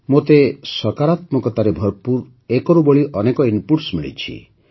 ମୋତେ ସକାରାତ୍ମକତାରେ ଭରପୂର ଏକରୁ ବଳି ଅନେକ ଇନପୁଟ୍ ମିଳିଛି